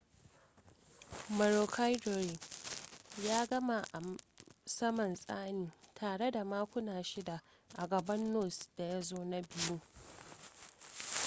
maroochydore ya gama a saman tsanin tare da makuna shida a gaban noose da ya zo na biyu